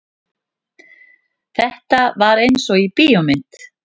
Þetta var einsog í bíómynd.